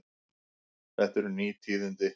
Þetta eru ný tíðindi.